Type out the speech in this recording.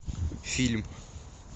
фильм